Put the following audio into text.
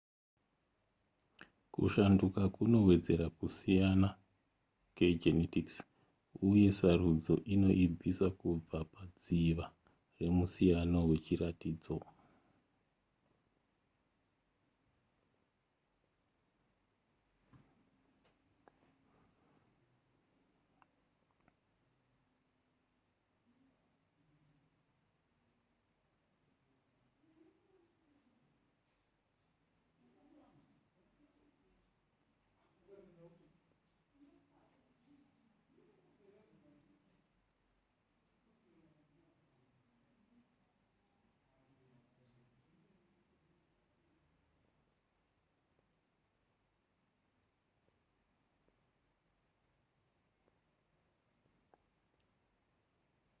kushanduka kunowedzera kusiyana kegenetics uye sarudzo inoibvisa kubva padziva remusiyano wechiratidzo